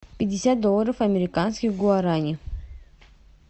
пятьдесят долларов американских в гуарани